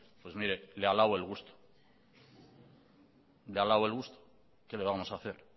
pues mire le alabo el gusto le alabo el gusto que le vamos a hacer